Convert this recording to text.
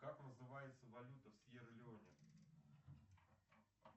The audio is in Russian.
как называется валюта в сьерра леоне